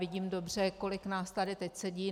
Vidím dobře, kolik nás tady teď sedí.